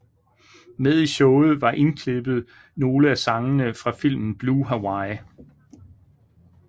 Med i showet var indklippet nogle af sangene fra filmen Blue Hawaii